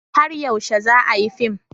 Har yaushe za a yi fim?